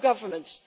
governments.